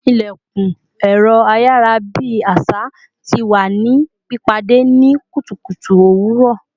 İlekun ẹ̀rọ ayarabi àṣà tí wá ní pìpàdé ni kùtùkùtù owuro